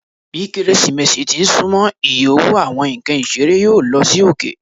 Bi Keresimesi ti n sunmọ, iye owo Awọn nkan isere yoo lo sí oke.